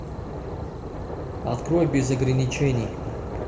открой без ограничений